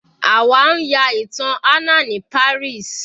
Àwa ń ya ìtàn Anna ní Paris.